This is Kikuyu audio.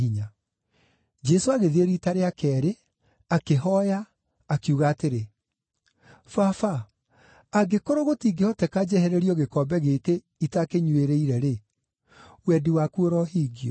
Jesũ agĩthiĩ riita rĩa keerĩ, akĩhooya, akiuga atĩrĩ, “Baba, angĩkorwo gũtingĩhoteka njehererio gĩkombe gĩkĩ itakĩnyuĩrĩire-rĩ, wendi waku ũrohingio.”